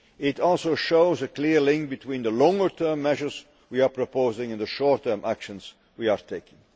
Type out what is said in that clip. It also shows a clear link between the longer term measures we are proposing and the short term actions we are taking.